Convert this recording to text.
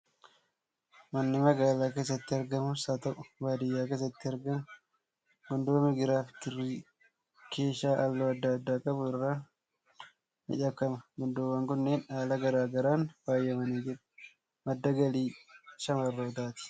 Manni magaalaa keessatti argamus haa ta'u, baadiyyaa keessatti argamu gundoo migiraa fi kirrii keeshaa halluu adda addaa qabu irraan miidhagfama. Gundoowwan kunneen haala garaa garaan faayamanii jiru. Madda galii shamarrootaati.